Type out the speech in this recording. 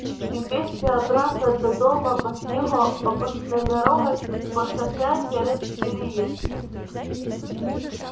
и вместе обратно до дома по снегу обычной дорогой по шоссе через переезд